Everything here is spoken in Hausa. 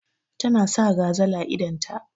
Ta na sa gazal a idon ta.